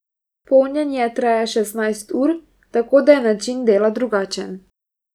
Polnjenje traja šestnajst ur, tako da je način dela drugačen.